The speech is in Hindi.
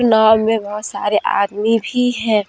नांव में बहोत सारे आदमी भी है।